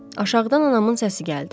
Aşağıdan anamın səsi gəldi.